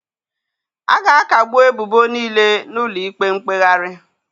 A ga-akagbu ebubo niile n'ụlọ ikpe mkpegharị